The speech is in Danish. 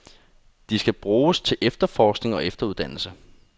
De skal bruges til forskning og efteruddannelse.